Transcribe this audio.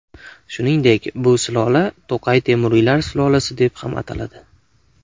Shuningdek, bu sulola To‘qay temuriylar sulolasi deb ham ataladi.